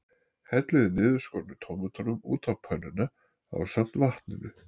Hellið niðurskornu tómötunum út á pönnuna ásamt vatninu.